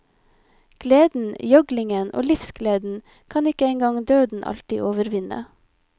Gleden, gjøglingen og livsgleden kan ikke engang døden alltid overvinne.